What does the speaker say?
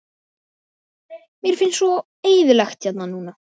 Mér finnst svo eyðilegt hérna núna.